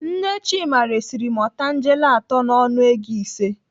Nne Chima resiri m otangele atọ n'ọnụ ego ise.